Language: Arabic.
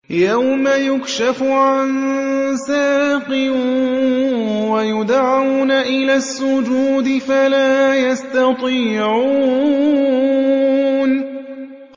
يَوْمَ يُكْشَفُ عَن سَاقٍ وَيُدْعَوْنَ إِلَى السُّجُودِ فَلَا يَسْتَطِيعُونَ